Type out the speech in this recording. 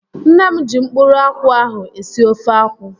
Nne m ji mkpụrụ akwụ ahụ esi ofe akwụ